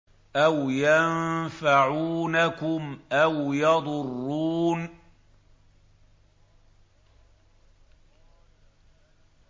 أَوْ يَنفَعُونَكُمْ أَوْ يَضُرُّونَ